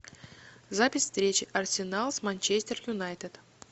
запись встречи арсенал с манчестер юнайтед